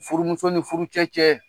Furumuso ni furu cɛ cɛɛ